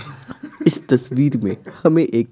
इस तस्वीर में हमें एक--